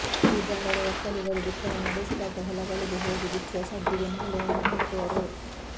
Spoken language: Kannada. ಹೂಗಾರರು ಒಕ್ಕಲಿಗರು ಬಿತ್ತನೆ ನಡೆಸಿದಾಗ ಹೊಲಗಳಿಗೆ ಹೋಗಿ ಬಿತ್ತುವ ಸಡ್ಡಿಗೆ ಮಾಲೆಯನ್ನು ಹಾಕುವರು